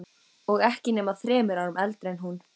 Og ekki nema þremur árum eldri en hún.